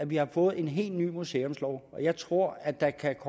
vi har fået en helt ny museumslov og jeg tror at der kan